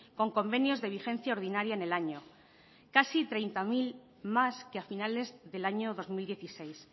con convenios de vigencia ordinaria en el año casi treinta mil más que a finales del año dos mil dieciséis